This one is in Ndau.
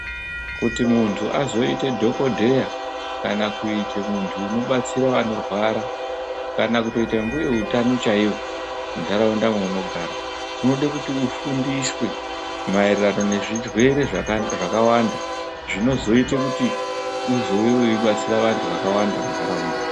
Kuti muntu azoite dhokodheya kana kuite muntu unobatsire vanorwara, kana kutoite mbuya utano chaiwo muntaraunda mweunogara, unode kuti ufundiswe maererano nezvirwere zvakawanda zvinozoite kuti uzove weibatsira vantu vakawanda muntaraunda.